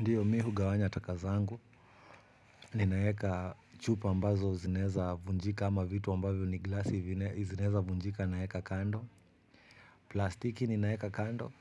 Ndiyo mi hugawanya taka zangu ninaeka chupa ambazo zinaeza vunjika ama vitu ambavyo ni glasi zinaezavunjika naeka kando. Plastiki ni naeka kando.